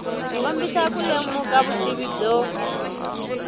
kombisa ku lemuka vutivi byo